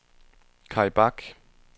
Kaj Bak